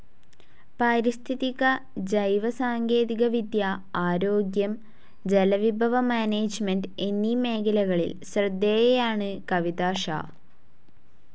പാരിസ്ഥിതിക ജൈവ സാങ്കേതിക വിദ്യ, ആരോഗ്യം, ജലവിഭവ മാനേജ്മെന്റ്‌ എന്നീ മേഖലകളിൽ ശ്രദ്ധേയയാണ് കവിതാ ഷാ.